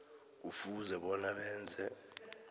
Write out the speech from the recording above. kufuze bona benze